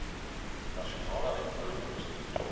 nasionale uitvoerende bestuur